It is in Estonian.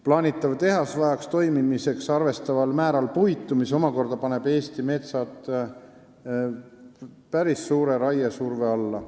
Plaanitav tehas vajab toimimiseks arvestataval määral puitu, mis omakorda paneb Eesti metsad päris suure raiesurve alla.